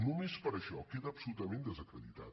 només per això queda absolutament desacreditat